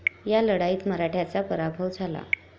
या लढाईत मराठ्यांचा पराभव झाला.